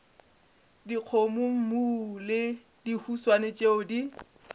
dikgomommuu le dihuswane tšeo di